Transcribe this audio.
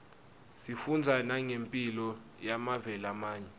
sifundza nangemphilo yemave lamanye